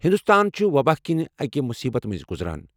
ہنٛدوستان چُھ وۄباہ کِنۍ اَکہِ مُصیٖبتہٕ مٕنٛزۍ گُزران۔